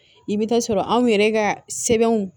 I bɛ taa sɔrɔ anw yɛrɛ ka sɛbɛnw